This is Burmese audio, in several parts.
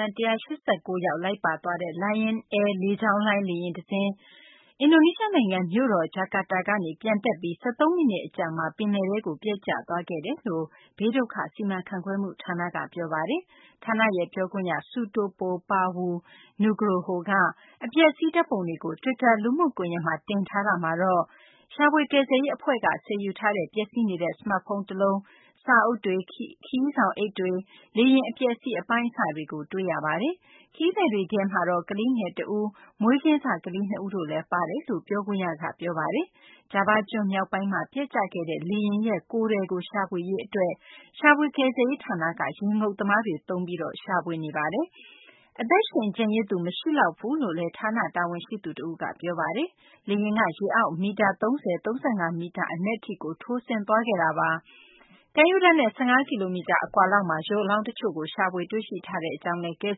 မ်း ၁၈၉ ယောက် လိုက်ပါသွားတဲ့ Lion Air လေကြောင်းလိုင်း လေယာဉ် တစင်း အင်ဒိုနီးရှား နိုင်ငံ မြို့တော် ဂျကာတာကနေ ပျံတက်ပြီး ၁၃ မိနစ် အကြာမှာ ပင်လယ်ထဲကို ပျက်ကျသွားခဲ့တယ်လို့ အင်ဒိုနီးရှား ဘေးဒုက္ခစီမံခန့်ခွဲမှု ဌာနက ပြောပါတယ်။ ဌာနရဲ့ ပြောခွင့်ရ Sutopo Purwo Nugroho က အပျက်အစီး ဓာတ်ပုံတွေကို တွစ်တာ လူမှုကွန်ယက်မှာ တင်ထားတာမှာတော့ ရှာဖွေကယ်ဆယ်ရေး အဖွဲ့က ဆယ်ယူထားတဲ့ ပျက်စီးနေတဲ့ စမတ်ဖုန်း တလုံး၊ စာအုပ်တွေ၊ ခရီးဆောင်အိတ်တွေ၊ လေယာဉ် အပျက်အစီး အပိုင်းအစတွေကို တွေ့ရပါတယ်။ ခရီးသည်တွေထဲမှာ ကလေးငယ်တဦး၊ မွေးစကလေးငယ် ၂ ဦး လည်း ပါဝင်ကြောင်း ပြောခွင့်ရ Nugroho က ပြောပါတယ်။ ဂျာဗားကျွန်း မြောက်ပိုင်းမှာ ပျက်ကျခဲ့တဲ့ လေယာဉ်ရဲ့ ကိုယ်ထည်ကို ရှာဖွေရေး အတွက် ရှာဖွေကယ်ဆယ်ရေး ဌာနက ရေငုပ်သမားတွေနဲ့ ရှာဖွေနေပါတယ်။ အသက်ရှင် ကျန်ရစ်သူ မရှိလောက်ဘူးလို့လည်း ဌာန တာဝန်ရှိသူ တဦးက ပြောဆိုပါတယ်။ လေယာဉ်က ရေအောက် မီတာ ၃၀ - ၃၅ မီတာ အနက်ထိ ထိုးဆင်းသွားခဲ့တာပါ။ ကမ်းရိုးတန်းနဲ့ ၁၅ ကီလိုမီတာ အကွာလောက်မှာ ရုပ်အလောင်း တချို့ကို ရှာဖွေတွေ့ရှိထားကြောင်းလည်း ကယ်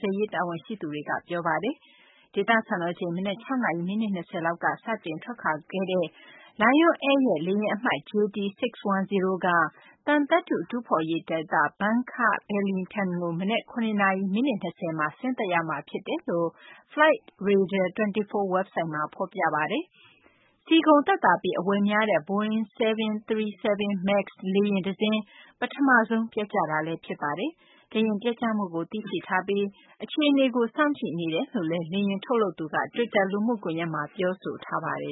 ဆယ်ရေး တာဝန်ရှိသူတွေက ပြောပါတယ်။ ဒေသ စံတော်ချိန် မနက် ၆ နာရီ မိနစ် ၂၀ လောက်က စတင်ထွက်ခွာခဲ့တဲ့ Lion Air ရဲ့ လေယာဉ်အမှတ် JT610 က သံသတ္တုတူးဖော်ရေး ဒေသ Bangka-Belitung ကို မနက် ၇ နာရီ မိနစ် ၂၀ မှာ ဆင်းသက်ရမှာ ဖြစ်တယ်လို့ Flightradar 24 ဝက်ဘ်ဆိုက်မှာ ဖော်ပြထားပါတယ်။ ဆီကုန်သက်သာပြီး အဝယ်များတဲ့ Boeing 737 MAX လေယာဉ်တစင်း ပထမဆုံး ပျက်ကျတာလည်း ဖြစ်ပါတယ်။ လေယာဉ်ပျက်ကျမှုကို သိရှိထားပြီး အခြေအနေကို စောင့်ကြည့်နေပါတယ်လို့ လေယာဉ်ထုတ်လုပ်တဲ့ကုမ္ပဏီကလည်း တွစ်တာလူမှုကွန်ယက်မှာ ပြောဆိုထားပါတယ်